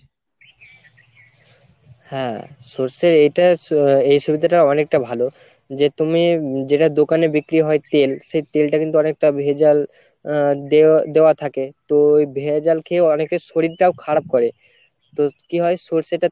হ্যাঁ সর্ষের এটা আহ এই সুবিধাটা অনেকটা ভালো যে তুমি হম যেটা দোকানে বিক্রি হয় তেল সেই তেলটা কিন্তু অনেকটা ভেজাল আহ দে~ দেওয়া থাকে তো ওই ভেজাল খেয়ে অনেকের শরীরটাও খারাপ করে তো কি হয় সর্ষেটা